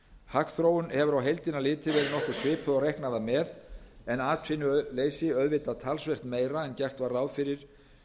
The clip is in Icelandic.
hagþróun hefur á heildina litið verið nokkuð svipuð og reiknað var með en atvinnuleysi auðvitað talsvert meira en gert var ráð fyrir